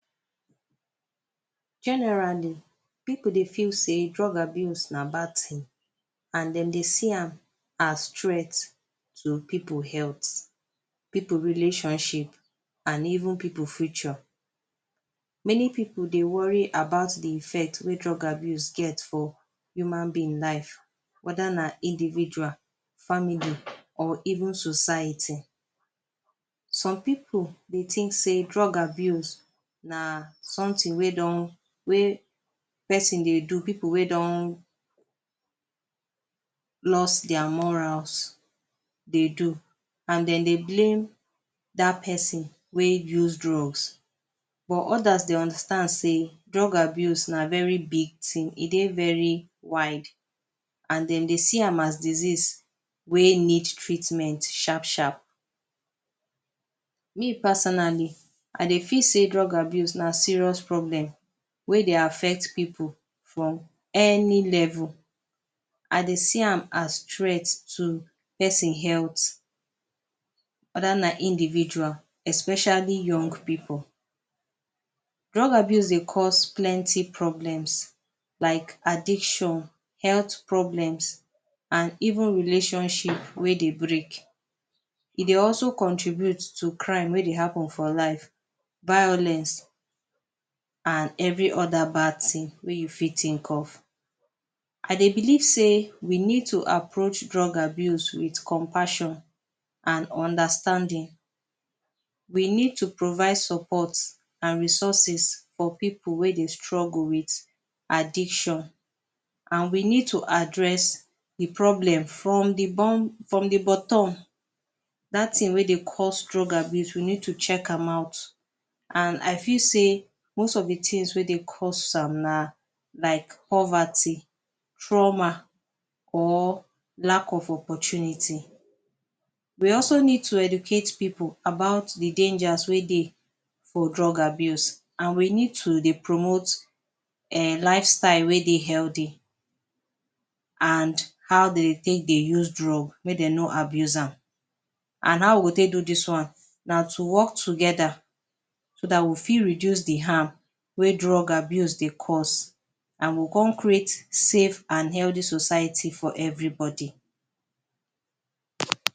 Generally pipu dey feel sey drug abuse na bad thing and dem dey see am as threat to pipu health pipu relationship and even pipu future. many pipu dey worry about de effect wey drug abuse get for human being life whether na individual family or even society. some pipu dey think sey drug abuse na something wey don wey person dey do. pipu wey don loss their morals dey do and dem dey blame that person wey use drugs but others dey understand sey drug abuse na very big thing. e dey very wide and dem dey see am as disease wey need treatment sharp sharp. me personally, I dey feel sey drug abuse na serious problem wey dey affect pipu from any level. I dey see am as threat to person health whether na individual especially young pipu. drug abuse dey cause plenty problems Ike addiction health problems and even relationships wey break e dey also contribute to crime wey dey happen for life. violence and every other bad things wey you fit think of e dey believe sey we need to approach drug abuse with compassion and understanding. we need to provide support and resources for pipu wey dey struggle with addiction and we need to address de problem from de bottom from de bottom. that thing wey dey cause drug abuse we need to check am out and I feel sey most of de things wey dey cause am na like poverty trauma or lack of opportunity. we also need to educate pipu about de dangers wey dey for drug abuse and we need to dey promote um life style wey dey healthy and how dem take dey use drug make dem no abuse am and how we go take do this one. na to work together so that we fit reduce de harm wey drug abuse dey cause and we go come create safe and healthy society for everybody